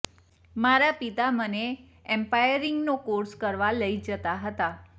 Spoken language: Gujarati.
મારા પિતા મને એમ્પાયરિંગનો કોર્સ કરવા લઇ જતાં હતા